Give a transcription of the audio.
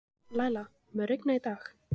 Læla, mun rigna í dag?